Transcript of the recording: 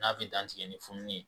N'a bɛ dantigɛ ni fununi ye.